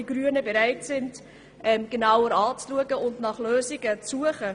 Die Grünen sind bereit, das Thema genauer anzuschauen und nach Lösungen zu suchen.